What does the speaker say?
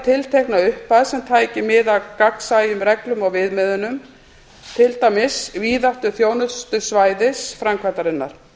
tiltekna upphæð sem tæki mið af gagnsæjum reglum og viðmiðunum til dæmis víðáttu þjónustusvæðis framkvæmdarinnar